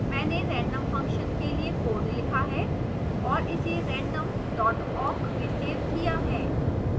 मैंने random function के लिए code लिखा है और इसे random awk में सेव किया है